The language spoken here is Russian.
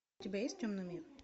у тебя есть темный мир